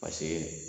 Paseke